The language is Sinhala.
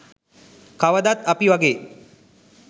කවදත් අපි වගේ